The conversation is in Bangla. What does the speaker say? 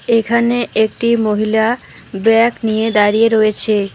এখানে একটি মহিলা ব্যাগ নিয়ে দাঁড়িয়ে রয়েছে।